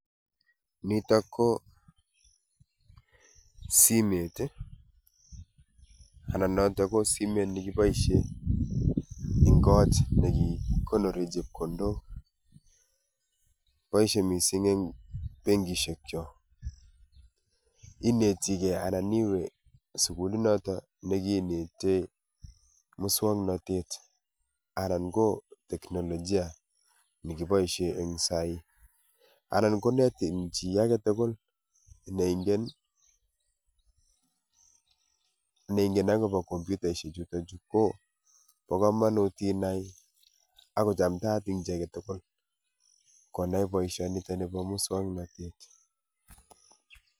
Nitok ko simet ii, anan notok ko simet nekiboisie eng' kot negikonore chepkondok. Boisie missing eng' benkishek cho. Inetigei anan iwe sukuli notok nekinetei muswoknotet anan ko teknolojia nekiboisie eng sai anan konetini chi age tugul neingen, neingen okobo kompyutaishek chutok chu. Ko bo kamanut inai ago chamtaat eng' chi age tugul konai boisionitoni bo muswoknotet.